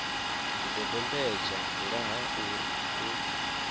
zwidodombedzwa nga ha uri u